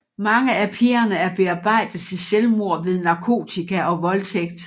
Mange af pigerne er bearbejdet til selvmord ved narkotika og voldtægt